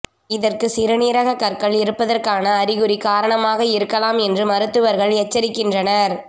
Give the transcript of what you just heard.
இதற்கு சிறுநீரக கற்கள் இருப்பதற்கான அறிகுறி காரணமாக இருக்கமால் என்று மருத்துவர்கள் எச்சரிக்கின்றனர்